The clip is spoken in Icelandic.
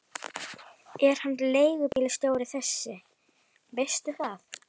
Er hann leigubílstjóri þessi, veistu það?